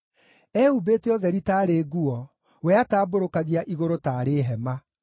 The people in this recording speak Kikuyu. Ehumbĩte ũtheri taarĩ nguo; we atambũrũkagia igũrũ taarĩ hema,